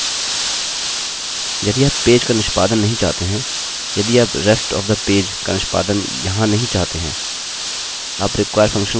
यदि आप पेज का निष्पादन नहीं चाहते हैंयदि आप rest of the page का निष्पादन यहाँ नहीं चाहते हैं आप require फंक्शन का उपयोग कर सकते हैं